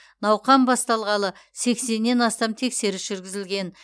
науқан басталғалы сексеннен астам тексеріс жүргізілген